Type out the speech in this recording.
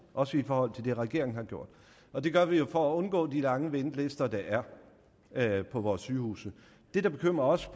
også i forhold til det regeringen har gjort og det gør vi jo for at undgå de lange ventelister der er er på vores sygehuse det der bekymrer os